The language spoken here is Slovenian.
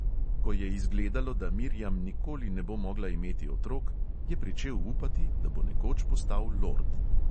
Ko je izgledalo, da miriam nikoli ne bo mogla imeti otrok, je pričel upati, da bo nekoč postal lord.